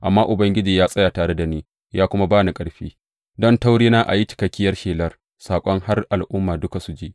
Amma Ubangiji ya tsaya tare da ni, ya kuma ba ni ƙarfi, don ta wurina a yi cikakkiyar shelar saƙon har Al’ummai duka su ji.